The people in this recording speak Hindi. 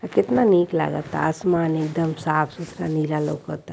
ये कितना नीक लागत आसमान एकदम साफ सुथरा नीला लौकता।